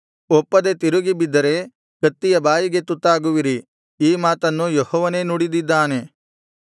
ಒಪ್ಪದೆ ತಿರುಗಿ ಬಿದ್ದರೆ ಕತ್ತಿಯ ಬಾಯಿಗೆ ತುತ್ತಾಗುವಿರಿ ಈ ಮಾತನ್ನು ಯೆಹೋವನೇ ನುಡಿದಿದ್ದಾನೆ